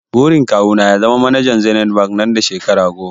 Burin kawu na ya zama manajan zenith bank nan da shekara goma